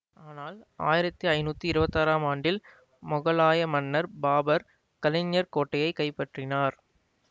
ஆனால் ஆயிரத்தி ஐநூத்தி இருவத்தாறாம் ஆண்டில் மொகலாய மன்னர் பாபர் கலிஞ்சர் கோட்டையை கைப்பற்றினார்